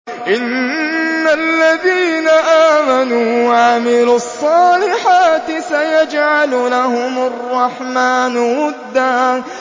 إِنَّ الَّذِينَ آمَنُوا وَعَمِلُوا الصَّالِحَاتِ سَيَجْعَلُ لَهُمُ الرَّحْمَٰنُ وُدًّا